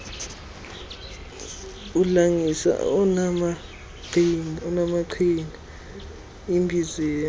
udlangisa onaamaqhinga umbizela